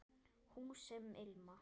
Hús sem ilma